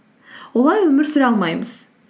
олай өмір сүре алмаймыз